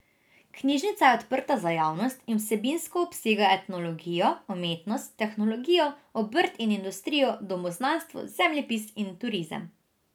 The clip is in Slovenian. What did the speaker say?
Knjižnica je odprta za javnost in vsebinsko obsega etnologijo, umetnost, tehnologijo, obrt in industrijo, domoznanstvo, zemljepis in turizem.